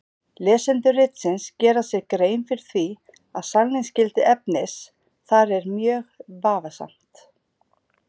Lesendur ritsins gera sér grein fyrir því að sannleiksgildi efnis þar er mjög vafasamt.